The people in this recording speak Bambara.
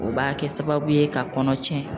O b'a kɛ sababu ye ka kɔnɔ tiɲɛ.